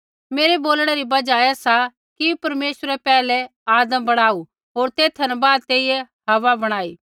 मेरा बोलणै री बजहा ऐ सा कि परमेश्वरै पैहलै आदम बणाऊ होर तेथा न बाद तेइयै हव्वा बणाई